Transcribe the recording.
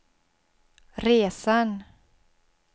resan